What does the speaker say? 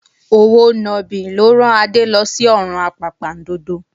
Òwò nàbì ló rán Adé lọ sí ọ̀run àpàpàǹdodo